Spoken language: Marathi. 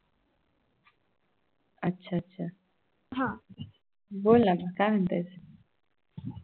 अच्छा अच्छा बोल ना तू अजून काय म्हणतेस